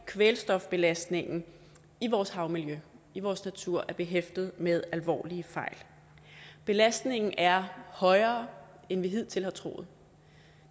kvælstofbelastningen i vores havmiljø i vores natur er behæftet med alvorlige fejl belastningen er højere end vi hidtil har troet